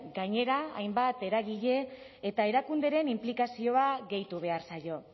gainera hainbat eragile eta erakunderen inplikazioa gehitu behar zaio